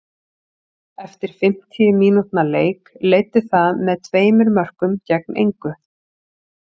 Eftir fimmtíu mínútna leik leiddi það með tveimur mörkum gegn engu.